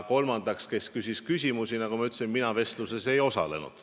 Kolmandaks, kes küsis küsimusi: nagu ma ütlesin, mina vestluses küsimustega ei osalenud.